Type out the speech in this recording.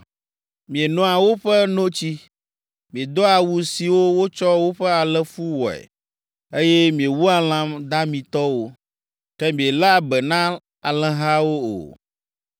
Mienoa woƒe notsi, miedoa awu siwo wotsɔ woƒe alẽfu wɔe, eye miewua lã damitɔwo, ke mieléa be na alẽhawo o.